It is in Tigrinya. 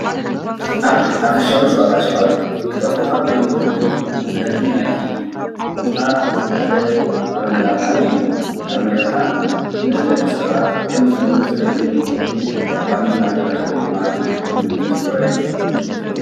ኣብ ሓፈሻዊ ሸቀጣሸቐጥ ክጠፍኡ ኻብ ዘይኻእሉ ምህርቲ ናይቲ ቦታ ሓደ ማርማላታ እዩ። ማርማላታ ንደቂሰባት ከም ምግብነት ዘገልግል እንትኸውን ኣብ ባኒ እናተለኸየ ድማ ንምግብነት ዝውዕል እዩ።